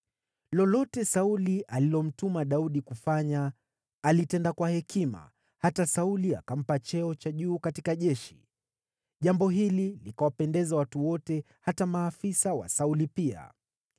Lolote Sauli alilomtuma Daudi kufanya, alitenda kwa hekima, hata Sauli akampa cheo cha juu katika jeshi. Jambo hili likawapendeza watu wote, hata maafisa wa Sauli pia.